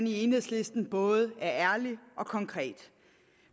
i enhedslisten både er ærlige og konkrete